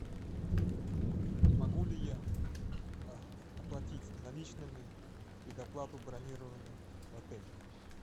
могу ли я оплатить наличными предоплату бронирования в отеле